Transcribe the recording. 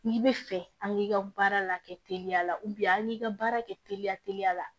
N'i bɛ fɛ an k'i ka baara la kɛ teliya la an k'i ka baara kɛ teliya teliya la